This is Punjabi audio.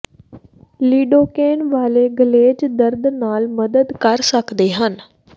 ਲਿਡੋਕੈਨ ਵਾਲੇ ਗਲੇਜ਼ ਦਰਦ ਨਾਲ ਮਦਦ ਕਰ ਸਕਦੇ ਹਨ